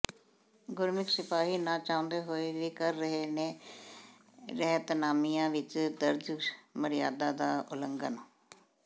ਗੁਰਸਿੱਖ ਸਿਪਾਹੀ ਨਾ ਚਾਹੁੰਦੇ ਹੋਏ ਵੀ ਕਰ ਰਹੇ ਨੇ ਰਹਿਤਨਾਮਿਆਂ ਵਿਚ ਦਰਜ਼ ਮਰਿਆਦਾ ਦਾ ਉਲੰਘਣ